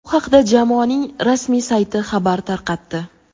Bu haqda jamoaning rasmiy sayti xabar tarqatdi.